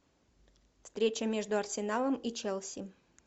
встреча между арсеналом и челси